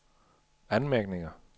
anmærkninger